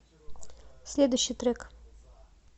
следующий трек